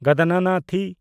ᱜᱚᱫᱚᱱᱟᱱᱟᱛᱤ